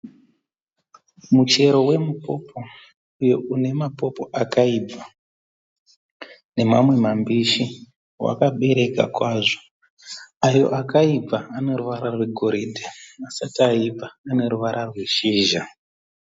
Muchero wemupopo uyo une mapopo akaibva nemamwe mambishi wakabereka kwazvo ayo akaibva ane ruvara goridhe asati aibva ane ruvara rweshizha.